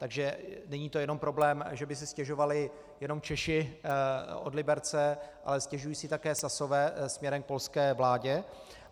Takže není to jenom problém, že by si stěžovali jenom Češi od Liberce, ale stěžují si také Sasové směrem k polské vládě.